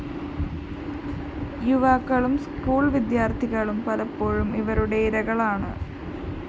യുവാക്കളും സ്കൂൾ വിദ്യാര്‍ത്ഥികളും പലപ്പോഴും ഇവരുടെ ഇരകളാണ്